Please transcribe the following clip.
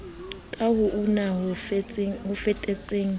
ka ho una ho tseteleng